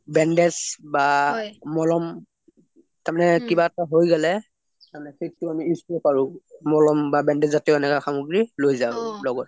ওম Bandage বা মলম তাৰ মানে কিবা এটা হৈ গলে সেইটো আমি use কৰিব পাৰোঁ মলম্ বা bandage জাতীয় এনেকুৱা সামগ্ৰী লগত লৈ যাও